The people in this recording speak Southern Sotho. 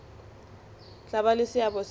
tla ba le seabo se